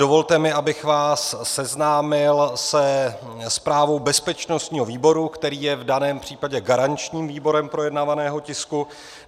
Dovolte mi, abych vás seznámil se zprávou bezpečnostního výboru, který je v daném případě garančním výborem projednávaného tisku.